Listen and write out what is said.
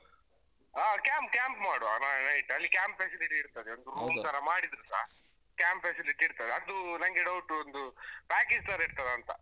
ಹ camp, camp ಮಾಡುವ ಹ night ಅಲ್ಲಿ camp facility ಇರ್ತದೆ ಒಂದು room ತರ ಮಾಡಿದ್ರೇಸ, camp facility ಇರ್ತದೆ ಅದು ನಂಗೆ doubt ಒಂದು package ತರ ಇರ್ತಾದ ಅಂತ.